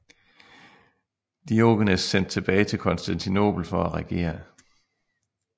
Diogenes sendt tilbage til Konstantinopel for at regere